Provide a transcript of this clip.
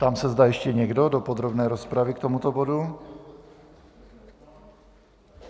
Ptám se, zda ještě někdo do podrobné rozpravy k tomuto bodu.